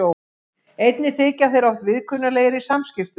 Einnig þykja þeir oft viðkunnanlegir í samskiptum.